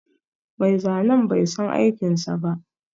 Mai zanen bai san aikinsa ba